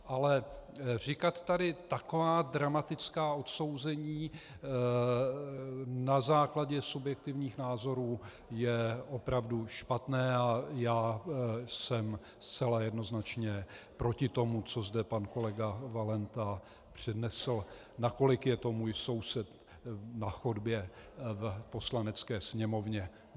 Ale říkat tady taková dramatická odsouzení na základě subjektivních názorů je opravdu špatné a já jsem zcela jednoznačně proti tomu, co zde pan kolega Valenta přednesl, nakolik je to můj soused na chodbě v Poslanecké sněmovně.